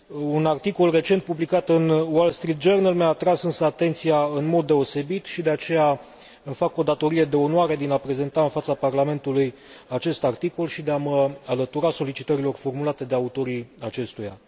Un articol recent publicat în mi a atras însă atenția în mod deosebit și, de aceea, îmi fac o datorie de onoare din a prezenta în fața Parlamentului acest articol și de a mă alătura solicitărilor formulate de autorii acestuia.